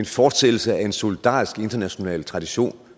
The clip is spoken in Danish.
fortsættelse af en solidarisk internationalt tradition